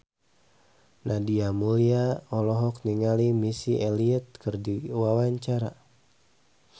Nadia Mulya olohok ningali Missy Elliott keur diwawancara